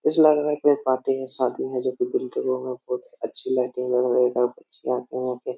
ऐसे लग रहा है कोई पार्टी है शादी है जो कि बिल्डिंगों में बहुत अच्छी लाइटिंग है --